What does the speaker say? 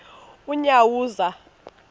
unyawuza